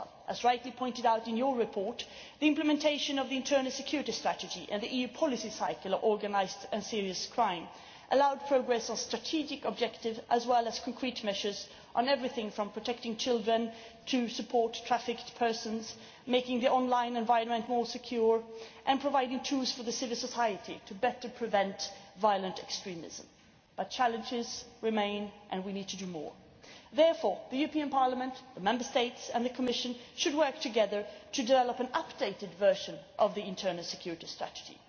As rightly pointed out in your report, the implementation of the internal security strategy and the EU policy cycle on serious and organised crime allowed progress on strategic objectives as well as concrete measures on everything from protecting children to support for trafficked persons, making the online environment more secure and providing tools for civil society to better prevent violent extremism. But challenges remain, and we need to do more. Therefore, the European Parliament, the Member States and the Commission should work together to draw up an updated version of the internal security strategy.